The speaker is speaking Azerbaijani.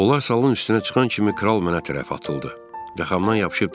Onlar salın üstünə çıxan kimi Kral mənə tərəf atıldı və xamdan yapışıb dedi.